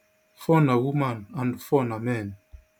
four na woman and four na men